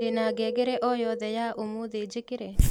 ndĩna ngengere o yothe yaũmũthĩ njĩkĩre